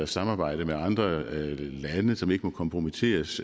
samarbejde med andre lande som ikke må kompromitteres